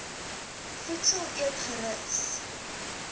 voedsel eet gerus